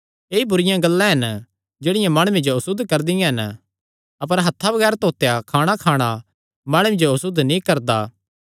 ऐई बुरिआं गल्लां हन जेह्ड़ियां माणुये जो असुद्ध करदियां हन अपर हत्थां बगैर धोतेयां खाणाखाणा माणुये जो असुद्ध नीं करदा